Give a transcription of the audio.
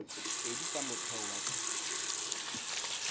pedi tsa motheo wa tsa